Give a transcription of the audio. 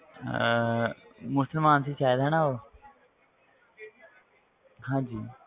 ਅਹ ਮੁਸਲਮਾਨ ਸੀ ਸ਼ਾਇਦ ਹਨਾ ਉਹ ਹਾਂਜੀ